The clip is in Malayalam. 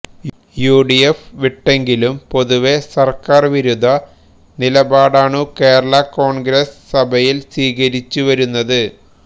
യുഡിഎഫ് വിട്ടെങ്കിലും പൊതുവേ സർക്കാർ വിരുദ്ധ നിലപാടാണു കേരള കോൺഗ്രസ് സഭയിൽ സ്വീകരിച്ചുവരുന്നത്